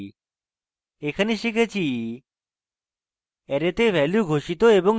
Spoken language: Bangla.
এখানে শিখেছি